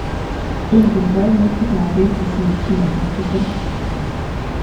Ingen kaimutik ap piik kosir chi ake tukul